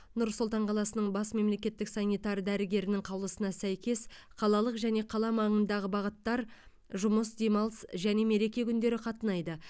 нұр сұлтан қаласының бас мемлекеттік санитар дәрігерінің қаулысына сәйкес қалалық және қала маңындағы бағыттар жұмыс демалыс және мереке күндері қатынайды